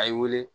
A ye wele